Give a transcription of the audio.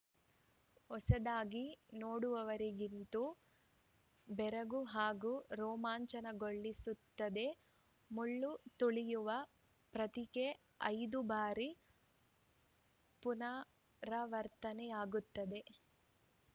ಹೊಸದಾಗಿ ನೋಡುವವರಿಗಂತೂ ಬೆರಗು ಹಾಗೂ ರೋಮಾಂಚನಗೊಳಿಸುತ್ತದೆ ಮುಳ್ಳು ತುಳಿಯುವ ಪ್ರಕ್ರಿಯೆ ಐದು ಬಾರಿ ಪುನರಾವರ್ತನೆಯಾಗುತ್ತದೆ